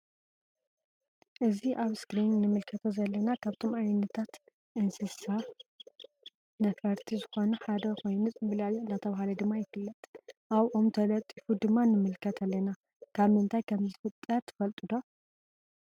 እዚ አብ እስክሪን እንምልከቶ ዘለና ካብቶም ዓይነታት እንስሳ ነፈርቲ ዝኮኑ ሓደ ኮይኑ ፅምብላሊዒ እንዳተብሃለ ድማ ይፍለጥ::አብ ኦም ተለጢፉ ድማ ንምልከት አለና::ካብ ምንታይ ከም ዝፍጠር ትፈልጡ ዶ?